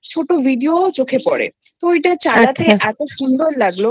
ছোট Video চোখে পরে তো ওটা চালাতে আচ্ছা এতো সুন্দর লাগলো